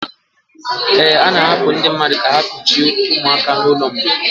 A na-ahapụ ndị mmadụ ka ha kuchiri ụmụaka n'ụlọ mgbei.